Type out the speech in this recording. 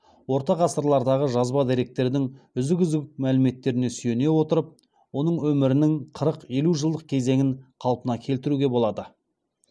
орта ғасырлардағы жазба деректердің үзік үзік мәліметтеріне сүйене отырып оның өмірінің қырық елу жылдық кезеңін қалпына келтіруге болады